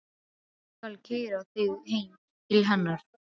Ég skal keyra þig heim til hennar.